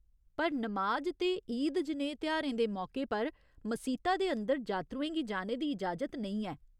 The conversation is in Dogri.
पर नमाज ते ईद जनेहे तेहारें दे मौके पर मसीता दे अंदर जात्तरुएं गी जाने दी इजाजत नेईं ऐ।